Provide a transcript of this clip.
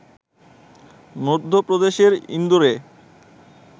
মধ্যপ্রদেশের ইন্দোরে